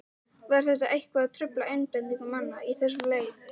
Var það eitthvað að trufla einbeitingu manna í þessum leik?